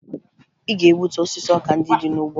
Ị ga-egbutu osisi ọka ndị dị n'ugbo!